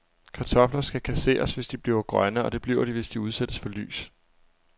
Kartofler skal kasseres, hvis de bliver grønne, og det bliver de, hvis de udsættes for lys.